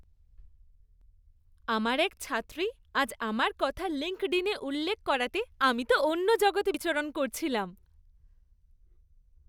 আমার এক ছাত্রী আজ আমার কথা লিঙ্কডইনে উল্লেখ করাতে আমি তো অন্য জগতে বিচরণ করছিলাম।